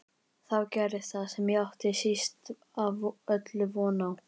Þá gerðist það sem ég átti síst af öllu von á.